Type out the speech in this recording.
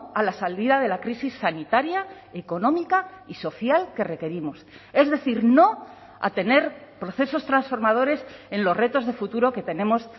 a la salida de la crisis sanitaria económica y social que requerimos es decir no a tener procesos transformadores en los retos de futuro que tenemos